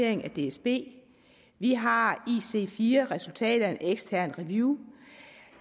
af dsb vi har ic4 resultat af en ekstern review